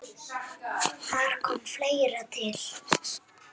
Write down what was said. Þar kom fleira til.